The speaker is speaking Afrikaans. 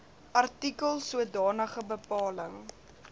artikels sodanige bepaling